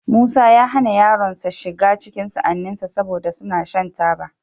Musa ya hana yaronsa shiga cikin sa'anninsa, saboda suna shan taba.